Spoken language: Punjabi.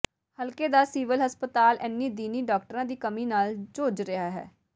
ਹਲਕੇ ਦਾ ਸਿਵਲ ਹਸਪਤਾਲ ਇੰਨ੍ਹੀ ਦਿਨੀਂ ਡਾਕਟਰਾਂ ਦੀ ਕਮੀ ਨਾਲ ਜੂਝ ਰਿਹਾ ਹੈ